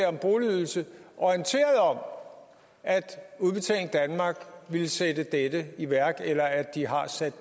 om boligydelse orienteret om at udbetaling danmark ville sætte dette i værk eller at de har sat